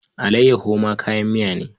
Allayyaho ma kayan miya ne.